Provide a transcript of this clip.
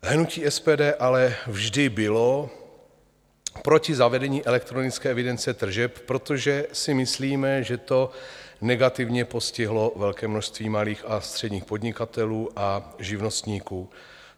Hnutí SPD ale vždy bylo proti zavedení elektronické evidence tržeb, protože si myslíme, že to negativně postihlo velké množství malých a středních podnikatelů a živnostníků.